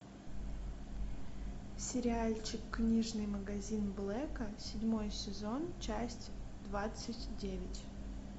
сериальчик книжный магазин блэка седьмой сезон часть двадцать девять